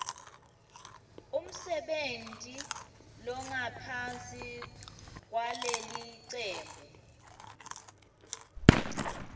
umsebenti longaphansi kwalelicembu